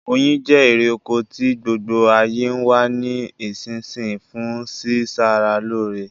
Oyin je erè oko ti gbogbo ayé n wa ni isínsinyí fun si sara lóre